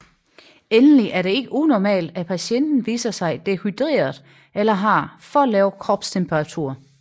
Endelig er det ikke unormalt at patienten viser sig dehydreret eller har for lav kropstemperatur